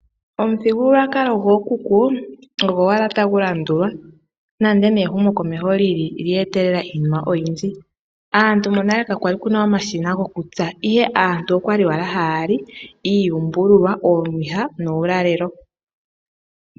Omuthigululwakalo gookuku ogo owala tagulandulwa, nande ehumo komeho olye etelela iinima oyindji. Monale kakwali kuna omashina gokutsa, ihe aantu okwali hayali iiyumbululwa oomwiha nuulalelo.